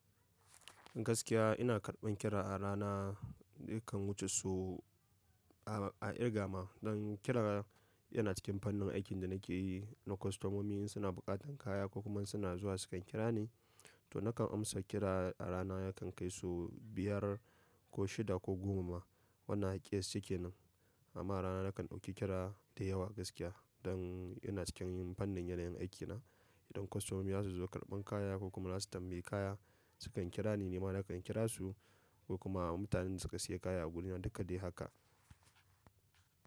Gaskiya ina karban kira a rana nakan wuce su a, a irga ma. Don kira yana cikin fannin aikin da nake yi na kostomomi in suna buƙatan kaya ko kuma suna zuwa sukan kira ni to nakan amsa kira a rana ya kan kai su biyar ko shida ko goma. Wannan akiyyasce kenan amma rana nakan ɗauki kira da yawa gaskiya don ina cikin yin fannin yanayin aikina. Idan kostomomi za su zo karban kaya ko kuma za su tambayi kaya su kan kira ni, nima nakan kira su ko kuma mutanen da suka sayi kaya a guri na duka dai haka.